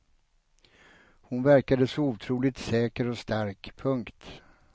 Hon verkade så otroligt säker och stark. punkt